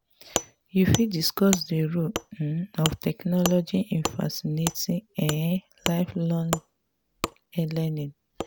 you fit discuss dey role um of technology in facilitating um lifelong learning.